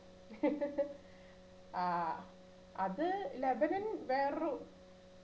ആഹ് അത് ലെബനൻ വേറൊരു